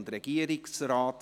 / Regierungsrat